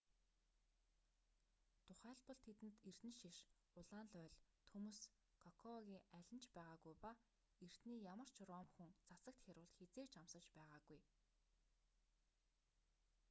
тухайлбал тэдэнд эрдэнэшиш улаан лооль төмс кокоагын аль нь ч байгаагүй ба эртний ямар ч ром хүн цацагт хяруул хэзээ ч амсаж байгаагүй